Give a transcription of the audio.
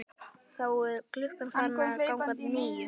Þá er klukkan farin að ganga níu.